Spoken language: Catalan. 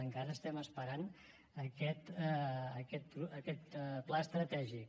encara estem esperant aquest pla estratègic